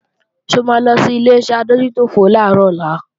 Ṣé o máa lo sí Ileṣẹ́ adójútòfò làárọ̀ ọ̀la?